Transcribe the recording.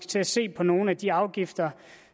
til at se på nogle af de afgifter